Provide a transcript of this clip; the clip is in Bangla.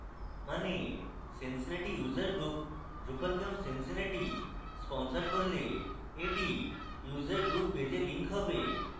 means cincinnati user group drupalcamp cincinnati sponsor করলে that user group page a link হবে